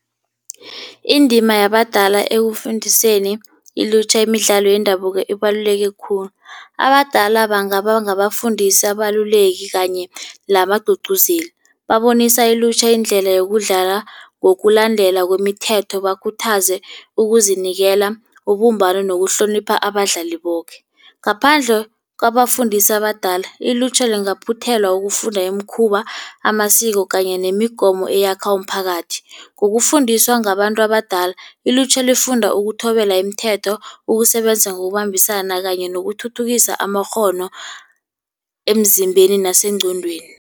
Indima yabadala ekufundiseni ilutjha imidlalo yendabuko ibaluleke khulu. Abadala bangabangabafundisi, abaluleki kanye nabagcugcuzeli. Babonisa ilutjha indlela yokudlala ngokulandela kwemithetho. Bakhuthaze ukuzinikela, ubumbano nokuhlonipha abadlali boke. Ngaphandle kwabafundisa abadala, ilutjha lingaphuthelwa ukufunda imikhuba, amasiko kanye nemigomo eyakha umphakathi. Ngokufundiswa ngabantu abadala ilutjha lifunda ukuthobela imithetho, ukusebenza ngokubambisana kanye nokuthuthukisa amakghono emzimbeni nasengqondweni.